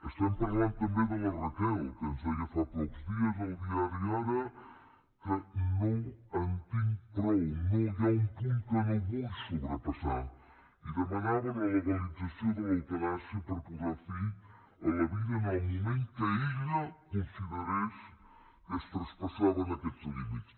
estem parlant també de la raquel que ens deia fa pocs dies al diari ara que no en tinc prou no hi ha un punt que no vull sobrepassar i demanava la legalització de l’eutanàsia per posar fi a la vida en el moment que ella considerés que es traspassaven aquests límits